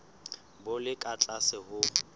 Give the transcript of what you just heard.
bo le ka tlase ho